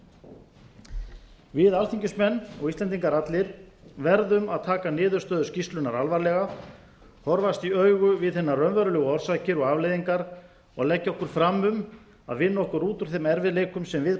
núna við alþingismenn og íslendingar allir verðum að taka niðurstöður skýrslunnar alvarlega horfast í augu við hinar raunverulegu orsakir og afleiðingar og leggja okkur fram um að vinna okkur út úr þeim erfiðleikum sem við